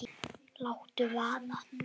Láttu vaða